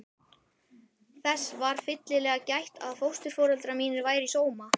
Þess var fyllilega gætt að fósturforeldrar mínir væru til sóma.